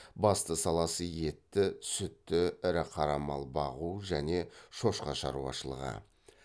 басты саласы етті сүтті ірі қара мал бағу және шошқа шаруашлығы